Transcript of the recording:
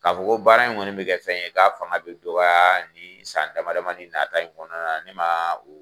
K'a fɔ baara in kɔni bɛ kɛ fɛn ye, k'a fana bɛ dɔgɔya ni san dama damani nataa in kɔnɔna na ne ma o